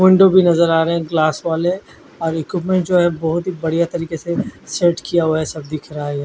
भी नज़र आ रहे है ग्लास वाले और एक बोहोत बढिया तरीके से सेट किया हुआ हिया सब दिख रहा है।